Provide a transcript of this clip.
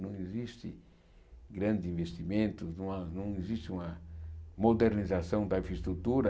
Não existe grandes investimentos, não há não existe uma modernização da infraestrutura.